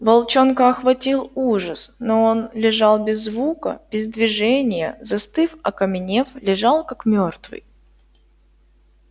волчонка охватил ужас но он лежал без звука без движения застыв окаменев лежал как мёртвый